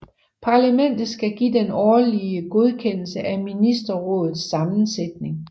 Parlamentet skal give den endelige godkendelse af ministerrådets sammensætning